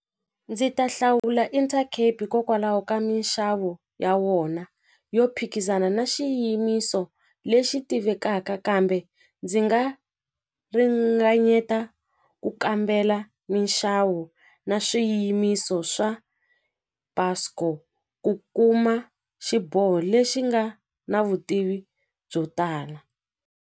Ndzi ta hlawula Intercape hikokwalaho ka minxavo ya wona yo phikizana na xiyimiso lexi tivekaka kambe ndzi nga ringanyeta ku kambela minxavo na swiyimiso swa Buscor ku kuma xiboho lexi nga na vutivi byo tala.